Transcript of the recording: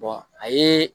a ye